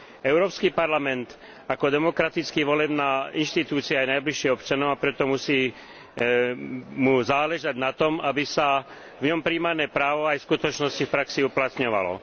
Európsky parlament ako demokraticky volená inštitúcia je najbližšie občanom, a preto mu musí záležať na tom, aby sa v ňom prijímané právo aj v skutočnosti v praxi uplatňovalo.